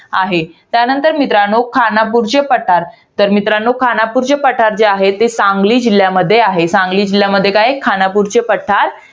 आहे. त्यानंतर मित्रांनो, खानापूरचे पठार. तर मित्रांनो खानापूरचे पठार जे आहे ते सांगली जिल्ह्यामध्ये आहे. सांगली जिल्ह्यामध्ये काय आहे? खानापूरचे पठार